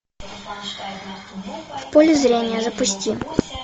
в поле зрения запусти